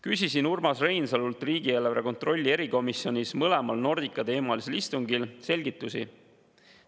Küsisin Urmas Reinsalult riigieelarve kontrolli erikomisjonis mõlemal Nordica-teemalisel istungil selgitusi.